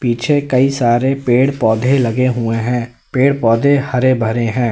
पीछे कई सारे पेड़ पौधे लगे हुए हैं पेड़ पौधे हरे भरे हैं।